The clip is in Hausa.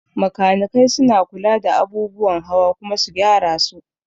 Makanikai suna kula da abubuwan hawa kuma su gyara su